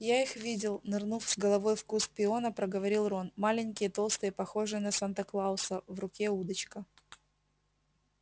я их видел нырнув с головой в куст пиона проговорил рон маленькие толстые похожие на санта-клауса в руке удочка